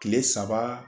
Kile saba